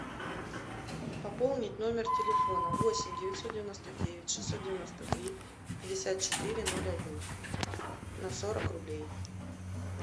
пополнить номер телефона восемь девятьсот девяносто девять шестьсот девяносто три пятьдесят четыре ноль один на сорок рублей